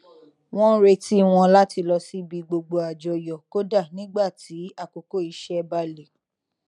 wọn n retí wọn láti lọ síbi gbogbo àjọyọ kódà nígbà tí àkókò iṣẹ bá le